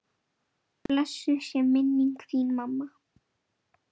Blessuð sé minning þín mamma.